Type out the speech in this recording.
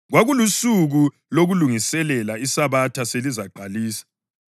Kwakulusuku lokuLungiselela, iSabatha selizaqalisa.